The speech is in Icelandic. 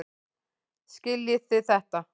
Skiljiði þetta ekki?